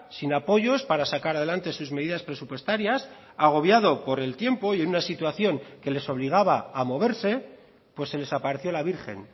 sin apoyos para sacar adelante sus medidas presupuestarias agobiado por el tiempo y en una situación que les obligaba a moverse pues se les apareció la virgen